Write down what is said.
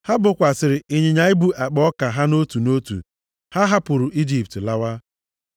ha bokwasịrị ịnyịnya ibu akpa ọka ha nʼotu nʼotu. Ha hapụrụ Ijipt lawa.